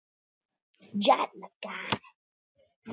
Um ungan mann.